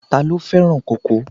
Ta ló fẹ́ràn kókò?